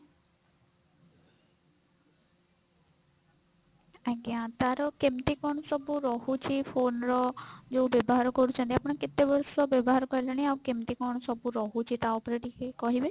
ଆଜ୍ଞା ତାର କେମିତି କଣ ସବୁ ରହୁଛି phone ର ଯଉ ବ୍ୟବହାର କରୁଛନ୍ତି ଆପଣ କେତେ ବର୍ଷ ବ୍ୟବହାର କଲେଣି ଆଉ କେମିତି କଣ ସବୁ ରହୁଛି ତା ଉପରେ ଟିକେ କହିବେ?